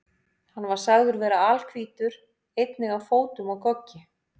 Hann var sagður vera alhvítur, einnig á fótum og goggi.